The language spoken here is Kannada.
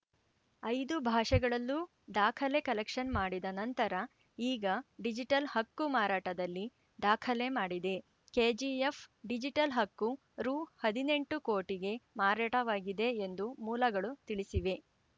ಐದು ಭಾಷೆಗಳಲ್ಲೂ ದಾಖಲೆ ಕಲೆಕ್ಷನ್‌ ಮಾಡಿದ ನಂತರ ಈಗ ಡಿಜಿಟಲ್‌ ಹಕ್ಕು ಮಾರಾಟದಲ್ಲಿ ದಾಖಲೆ ಮಾಡಿದೆ ಕೆಜಿಎಫ್‌ ಡಿಜಿಟಲ್‌ ಹಕ್ಕು ರು ಹದಿನೆಂಟು ಕೋಟಿಗೆ ಮಾರಾಟವಾಗಿದೆ ಎಂದು ಮೂಲಗಳು ತಿಳಿಸಿವೆ